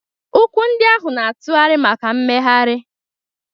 Ụkwụ ndị ahụ na-atụgharị maka mmegharị.